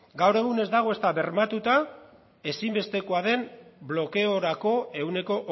gaur egun ez dago ezta bermatuta ezinbestekoa den blokeorako ehuneko